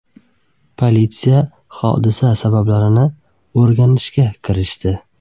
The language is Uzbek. Politsiya hodisa sabablarini o‘rganishga kirishdi.